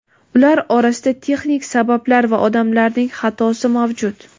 ular orasida texnik sabablar va odamlarning xatosi mavjud.